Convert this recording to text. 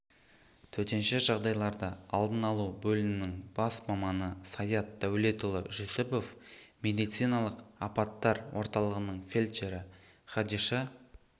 төтенше жағдайларды алдын алу бөлімінің бас маманы саят дәулетұлы жүсіпов медициналық аппатар орталығының фельдшері кадиша